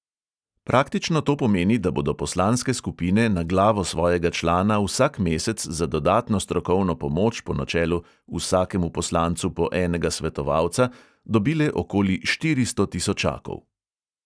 Praktično to pomeni, da bodo poslanske skupine na glavo svojega člana vsak mesec za dodatno strokovno pomoč po načelu "vsakemu poslancu po enega svetovalca" dobile okoli štiristo tisočakov.